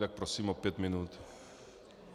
Tak prosím o pět minut.